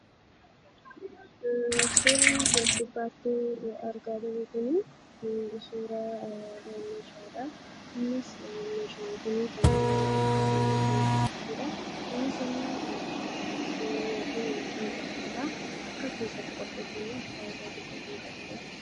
Suurri as gubbaati argaa jirru kun suuraa meeshaadha. Innis meeshaan kun meeshaa mana keessatti fayyadudha. Innis waan waxiin keessatti qopheeffamudha.